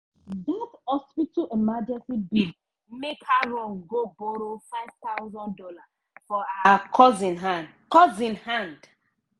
dat hospital emergency bill make her run go borrow five thousand dollars for her cousin hand. cousin hand.